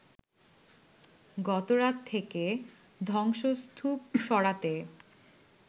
গতরাত থেকে ধ্বংসস্তূপ সরাতে